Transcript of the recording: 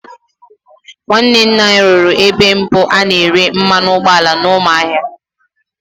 Nwanne nna anyị rụrụ ebe mbụ a na-ere mmanụ ụgbọala n'Ụmụahịa.